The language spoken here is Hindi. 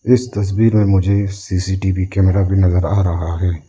इस तस्वीर में मुझे सी_सी_टी_वी कैमरा भी नजर आ रहा है।